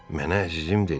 Mənə əzizim dedi.